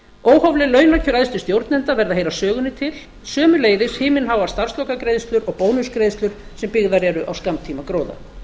óhófleg launakjör æðstu stjórnenda verða að heyra sögunni til sömuleiðis himinháar starfslokagreiðslur og bónusgreiðslur sem byggðar eru á skammtíma gróða